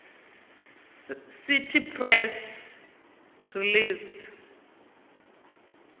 cite press release